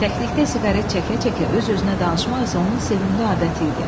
Təklikdə siqaret çəkə-çəkə öz-özünə danışmaq isə onun sevimli adəti idi.